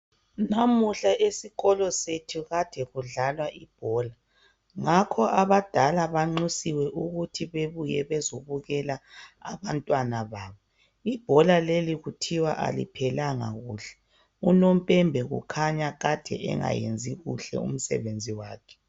Namuhla esikolo sethu kade kudlalwa ibhola ngakho abadala banxusiwe ukuthi bebuye bezobukela abantwana babo. Ibhola leli kuthiwa aliphelanga kuhle. Unompembe ukhanya kade engayenzi kuhle umsebenzi wakhe.